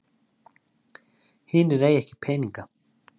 Hinir eiga ekki peninga